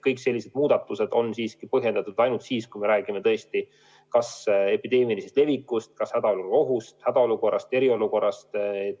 Kõik sellised muudatused on põhjendatud ainult siis, kui me räägime tõesti kas epideemilisest levikust, hädaolukorra ohust, hädaolukorrast või eriolukorrast.